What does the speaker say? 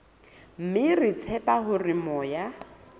mme re tshepa hore moya